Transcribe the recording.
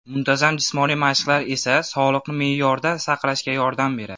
Muntazam jismoniy mashqlar esa sog‘liqni me’yorda saqlashga yordam beradi.